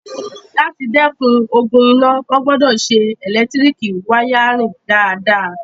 Láti dẹ́kun ogun iná, wọ́n gbọdọ̀ ṣe ẹlẹtíríkì wáyárìn dáadáa